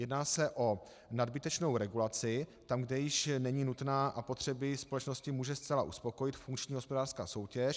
Jedná se o nadbytečnou regulaci tam, kde již není nutná a potřeby společnosti může zcela uspokojit funkční hospodářská soutěž.